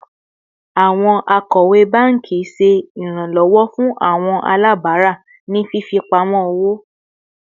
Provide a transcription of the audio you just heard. Awọn akọwe banki ṣe iranlọwọ fun awọn alabara ni fifipamọ owo